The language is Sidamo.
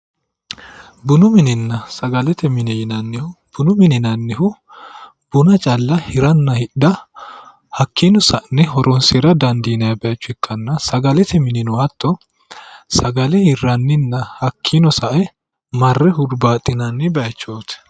Bunu minenna sagalete mine yinnanihu ,bunu mine yinnannihu buna calla hiranna hidhe hakkino sa'ne horonsira dandiinanni bayicho ikkanna ,sagalete minino hatto sagale hiraninna hakkino sae marre huribbaxinanni bayichoti